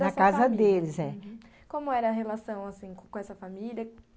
Na casa deles, é. Como era a relação, assim, com essa família?